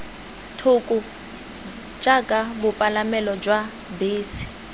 thoko jaaka bopalamelo jwa bese